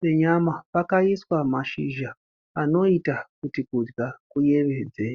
penyama pakaiswa mashizha anoita kuti kudya kuyevedze.